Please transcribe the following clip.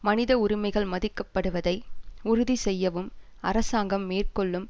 மனித உரிமைகள் மதிக்கப்படுவதை உறுதி செய்யவும் அரசாங்கம் மேற்கொள்ளும்